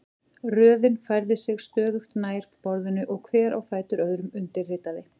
Röðin færði sig stöðugt nær borðinu og hver á fætur öðrum undirritaði.